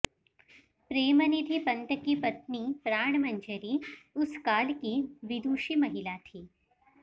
प्रेम निधि पंत की पत्नी प्राणमंजरी उस काल की विदुषी महिला थी